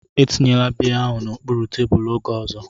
Etinyela biya ahụ n'okpuru tebụl oge ọzọ!